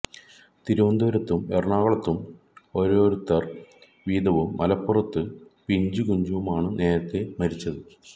തിരുവനന്തപുരത്തും എറണാകുളത്തും ഓരോരുത്തർ വീതവും മലപ്പുറത്ത് പിഞ്ചുകുഞ്ഞു മാ ണ് നേരത്തെ മരിച്ചത്